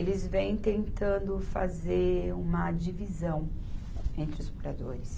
Eles vêm tentando fazer uma divisão entre os moradores.